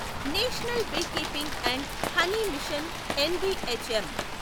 national beekeeping and honey mission NBHM